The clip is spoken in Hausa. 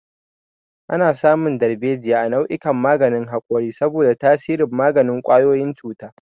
Ana samun darbejiya a cikin nau'ikan maganin haƙori saboda tasirin maganin ƙwayoyin cuta.